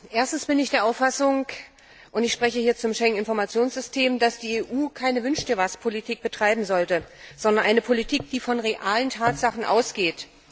Erstens bin ich der Auffassung und ich spreche hier zum Schengen Informationssystem dass die EU keine Wünsch Dir was Politik betreiben sollte, sondern eine Politik, die von realen Tatsachen ausgeht.